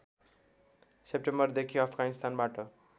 सेप्टेम्बरदेखि अफगानिस्तानबाट